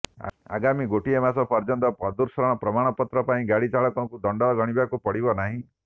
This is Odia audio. ଆଗାମୀ ଗୋଟିଏ ମାସ ପର୍ୟ୍ୟନ୍ତ ପ୍ରଦୂଷଣ ପ୍ରମାଣପତ୍ର ପାଇଁ ଗାଡି ଚାଳକଙ୍କୁ ଦଣ୍ଡ ଗଣିବାକୁ ପଡିବ ନାହିଁ